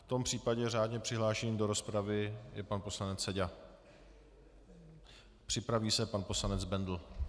V tom případě řádně přihlášený do rozpravy je pan poslanec Seďa, připraví se pan poslanec Bendl.